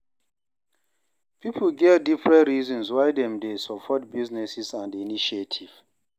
Pipo get different reasons why dem de support businesses and initiative